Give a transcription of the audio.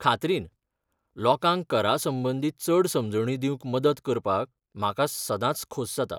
खात्रीन, लोकांक करा संबंदीत चड समजणी दिवंक मदत करपाक म्हाका सदांच खोस जाता.